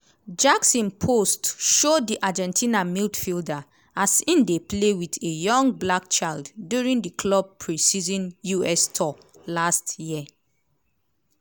jackson post show di argentina midfielder as im dey play wit a young black child during di club pre-season us tour last year.